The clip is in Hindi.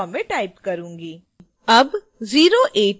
मैं iit bombay type करूंगी